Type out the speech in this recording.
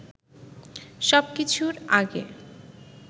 সবকিছুর আগে